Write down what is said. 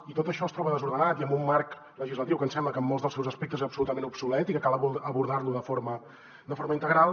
i tot això es troba desordenat i amb un marc legislatiu que ens sembla que en molts dels seus aspectes és absolutament obsolet i que cal abordar lo de forma integral